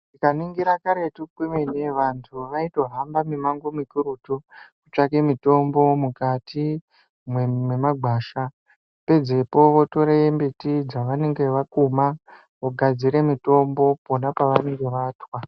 Tikaningira karetu mwemene antu vaihamba mumango mikurutu vachitsvake mitombo mukati memagwasha pedzepo votora mbiti dzavanenge vakuma vogadzira mitombo pona pavanenge vatwa.